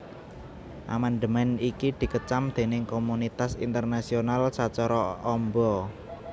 Amandemèn iki dikecam déning komunitas internasional sacara amba